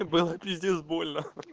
было пиздец больно